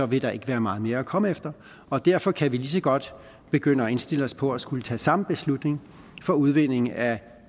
vil der ikke være meget mere at komme efter og derfor kan vi lige så godt begynde at indstille os på at skulle tage samme beslutning for udvinding af